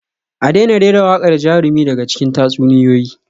A daina rera waƙar jarumi daga cikin tatsuniyoyi